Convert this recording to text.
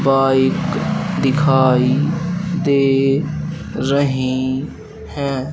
Bike दिखाई दे रही है।